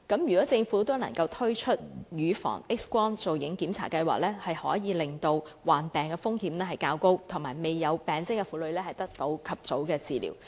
如果政府能夠推出乳房 X 光造影檢查計劃，便可以令患癌風險較高但未有病徵的婦女及早獲得治療。